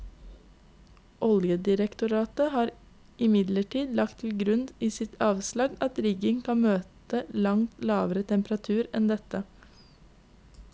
Oljedirektoratet har imidlertid lagt til grunn i sitt avslaget at riggen kan møte langt lavere temperaturer enn dette.